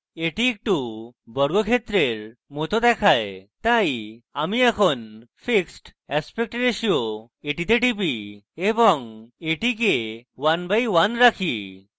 এটি একটু বর্গক্ষেত্রের it দেখায় তাই আমি fixed aspect ratio তে টিপি এবং এটিকে 1 by 1 রাখি